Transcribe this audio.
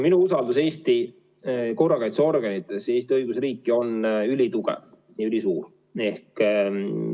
Minu usaldus Eesti korrakaitseorganite vastu on ülisuur ja Eesti õigusriiki ülitugev.